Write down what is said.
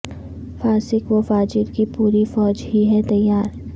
فاسق و فاجر کی پوری فوج ہی ہے تیار